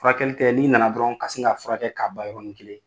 Furakɛli tɛ, n'i nana dɔrɔn ka sin ka furakɛ k'a ban yɔrɔni kelen.